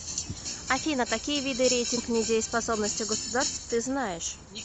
афина какие виды рейтинг недееспособности государств ты знаешь